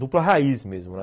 Dupla raiz mesmo, né?